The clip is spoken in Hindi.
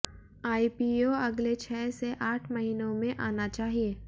आईपीओ अगले छह से आठ महीनों में आना चाहिए